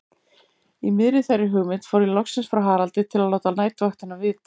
Í miðri þeirri hugmynd fór ég loksins frá Haraldi að láta næturvaktina vita.